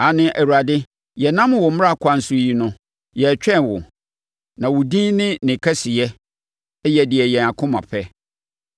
Aane, Awurade, yɛnam wo mmara kwan so yi no, yɛretwɛn wo; na wo din ne ne kɛseyɛ yɛ deɛ yɛn akoma pɛ.